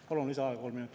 Palun lisaaega kolm minutit.